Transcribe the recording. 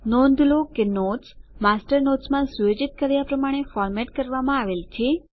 નોંધ લો કે નોટ્સ માસ્ટર નોટ્સ માં સુયોજિત કર્યા પ્રમાણે ફોર્મેટ કરવામાં આવેલ છે